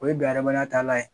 O ye bi adamadenya talan ye